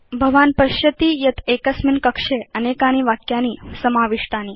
भवान् पश्यति यत् एकस्मिन् कक्षे अनेकानि वाक्यानि समाविष्टानि